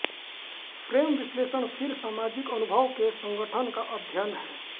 frame विश्लेषण फिर सामाजिक अनुभव के संगठन का अध्ययन है